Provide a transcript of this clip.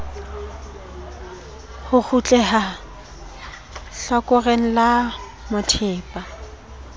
ho kgutleha hlakoreng la methepa